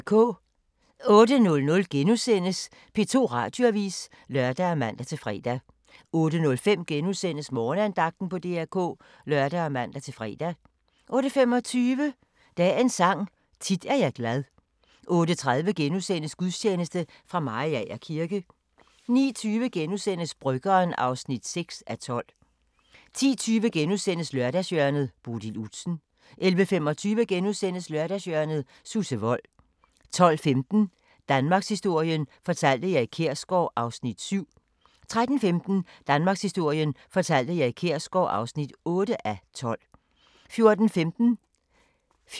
08:00: P2 Radioavis *(lør og man-fre) 08:05: Morgenandagten på DR K *(lør og man-fre) 08:25: Dagens Sang: Tit er jeg glad 08:30: Gudstjeneste fra Mariager kirke * 09:20: Bryggeren (6:12)* 10:20: Lørdagshjørnet - Bodil Udsen * 11:25: Lørdagshjørnet – Susse Wold * 12:15: Danmarkshistorien fortalt af Erik Kjersgaard (7:12) 13:15: Danmarkshistorien fortalt af Erik Kjersgaard (8:12) 14:15: aHA! *